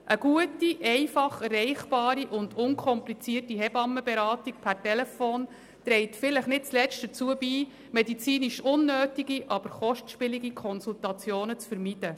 Eine gute, einfach erreichbare und unkomplizierte Hebammenberatung per Telefon trägt vielleicht nicht zuletzt dazu bei, medizinisch unnötige aber kostspielige Konsultationen zu vermeiden.